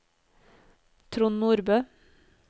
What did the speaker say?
Trond Nordbø